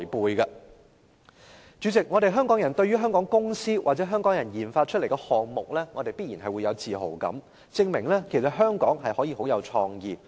代理主席，香港人對於香港公司或香港人研發出來的項目必然有自豪感，這也證明香港可以很有創意。